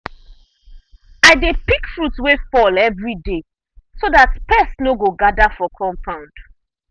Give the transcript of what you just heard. i dey pick fruit wey fall every day so that pest no go gather for compound.